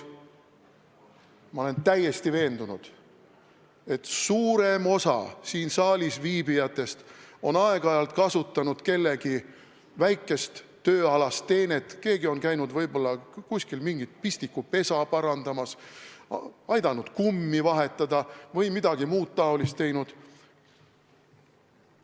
Ma olen täiesti veendunud, et suurem osa siin saalis viibijatest on aeg-ajalt kasutanud kellegi väikest tööalast teenet, keegi on käinud võib-olla kuskil mingit pistikupesa parandamas, aidanud kummi vahetada või midagi muud taolist teinud.